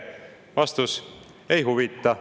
Vastus: ei huvita.